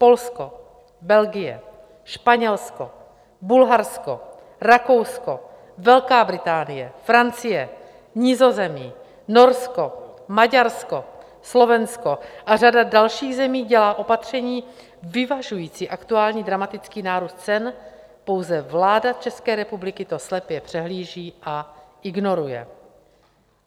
Polsko, Belgie, Španělsko, Bulharsko, Rakousko, Velká Británie, Francie, Nizozemí, Norsko, Maďarsko, Slovensko a řada dalších zemí dělá opatření vyvažující aktuální dramatický nárůst cen, pouze vláda České republiky to slepě přehlíží a ignoruje.